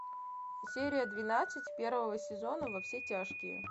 серия двенадцать первого сезона во все тяжкие